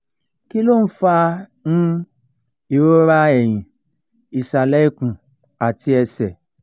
kí ló ń fa um ìrora ẹ̀yìn ìsàlẹ̀ ikùn àti ẹsẹ̀?